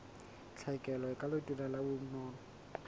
tlhekelo ka letona la bonono